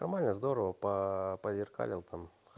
нормально здорово по зеркальному там